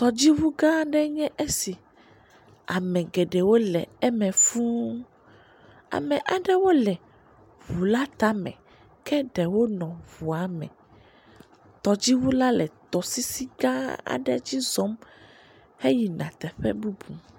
Tɔdzi ʋu gã ɖe nye esi, ame geɖewo le eme fū, ame aɖewo le ʋu la tame, ke ɖewo nɔ ʋuame, tɔdzi ʋu la le tɔsisi gã aɖe dzi zɔm he yi na teƒe bubu.